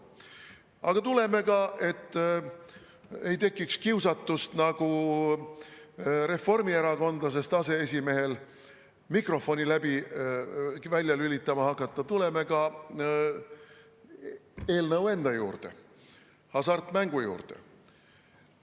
Aga tuleme, et ei tekiks kiusatust, nagu reformierakondlasest aseesimehel, mikrofoni välja lülitama hakata, eelnõu enda juurde, hasartmängu juurde.